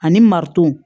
Ani marotu